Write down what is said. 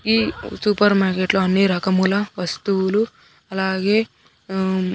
ఈ సూపర్ మార్కెట్లో అన్ని రకముల వస్తువులు అలాగే ఉమ్.